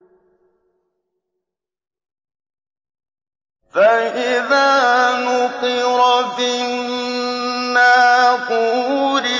فَإِذَا نُقِرَ فِي النَّاقُورِ